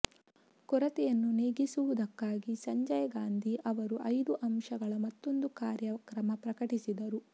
ಕೊರತೆಯನ್ನು ನೀಗಿಸುವುದಕ್ಕಾಗಿ ಸಂಜಯ ಗಾಂಧಿ ಅವರು ಐದು ಅಂಶಗಳ ಮತ್ತೊಂದು ಕಾರ್ಯಕ್ರಮ ಪ್ರಕಟಿಸಿದರು